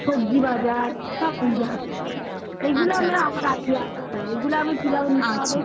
সবজি বাজার সব নিজের হাতে করি. এগুলো আমি কিভাবে নিচ্ছি।